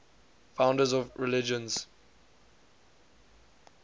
founders of religions